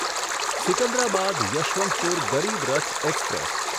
Secunderabad Yeshwantpur Garib Rath express